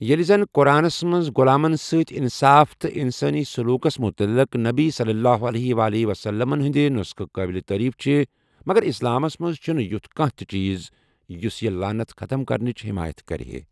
ییٚلہِ زَن قرآنس منٛز غۄلامن سۭتۍ اِنصاف تہٕ انسٲنی سلوٗکس مُتعلق نبی صلی اللہ علیہ وسلمٕن ہندِ نو٘سخہٕ قٲبلِ تٲریف چھِ، مگر اسلامس منٛز چھِنہٕ یُتھ کانٛہہ تہٕ چیٖز ہُس یہِ لعنت ختم کرنٕچ حمایت کرِہے ۔